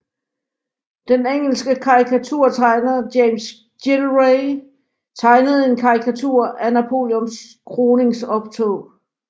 Den engelske karikaturtegner James Gillray tegnede en karikatur af Napoleons kroningsoptog